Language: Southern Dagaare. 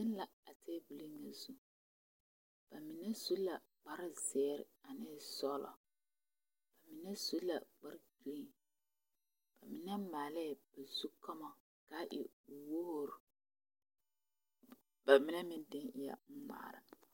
Zeŋ la a tabulo zu ba mine su la kpare ziiri ane sɔglo ba mine su la kpare pòɛ ba mine maalee o zu koma kaa e wogri ba mine meŋ dene eɛ ŋmaare.